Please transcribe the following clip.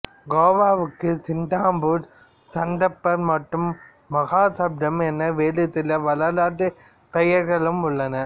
கோவாவுக்கு சிந்தாபூர் சந்தாபர் மற்றும் மஹாசப்தம் என வேறு சில வரலாற்றுப் பெயர்களும் உள்ளன